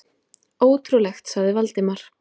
Ótrúlegt sagði Valdimar.